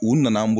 U nana